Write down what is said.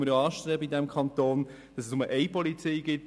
In unserem Kanton streben wir an, dass es nur eine Polizei gibt.